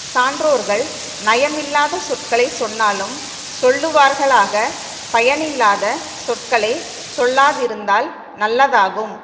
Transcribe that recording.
சான்றோர்கள் நயமில்லாத சொற்களை சொன்னாலும் சொல்லுவார்களாக பயனில்லாத சொற்களை சொல்லாதிருந்தால் நல்லதாகும்